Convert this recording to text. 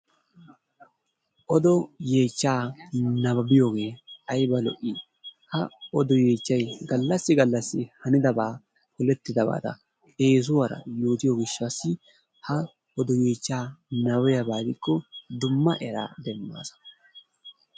Odo yeechcha nababbiyooge aybba lo''i! ha odo yeechchaykka gallassi gallasii hanidaaba, polettidaabata eessuwara odiyo gishshassi ha odo yeechchaa nababbiyaaba gidikko dumma eraa demmaasa.